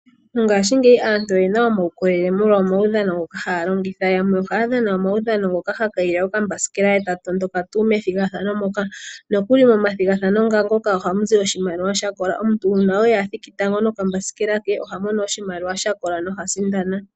Mongaashingeyi aantu oyena uukolele molwa omaudhano ngoka haya longitha, yamwe ohaya dhana omaudhano ngoka haya kayile okambasikela e taya tondoka nokuli momathigathano nga ngoka ohamu zi oshimaliwa shakola, omuntu uuna oye athiki tango nokambasikela ke oha mono oshimaliwa sha kola, noha sindana.